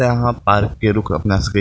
यहां पार्क पे रुक अपना सब के --